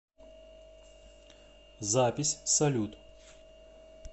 запись салют